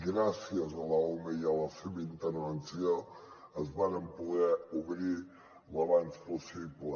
gràcies a l’ume i a la seva intervenció es varen poder obrir al més aviat possible